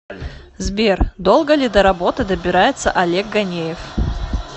сбер долго ли до работы добирается олег ганеев